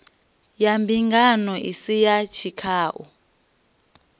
ya mbingano isi ya tshikhau